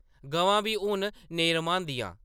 गवां बी हुन नेईं रम्हांदियां ।